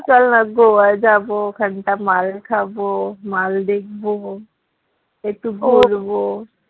চল না গোয়া যাবো ওখানটা মাল খাবো মাল দেখবো একটু